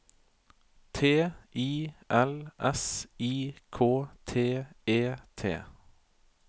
T I L S I K T E T